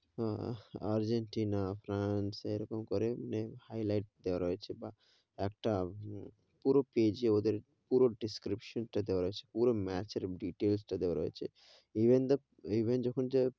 আহ Argentina আপনার সেরকম করেই highlight দেয়া রয়েছে বা, একটা পুরো page এ ওদের পুরো description টা দেয়া আছে পুরো match এর details টা দেয়া রয়েছে, even, even যখন যে,